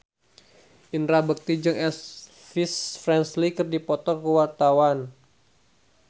Indra Bekti jeung Elvis Presley keur dipoto ku wartawan